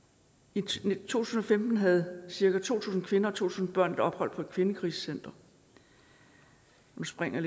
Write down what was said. i to tusind og femten havde cirka to tusind kvinder og to tusind børn et ophold på et kvindekrisecenter og nu springer